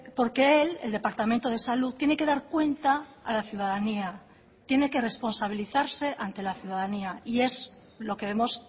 porque él el departamento de salud tiene que dar cuenta a la ciudadanía tiene que responsabilizarse ante la ciudadanía y es lo que vemos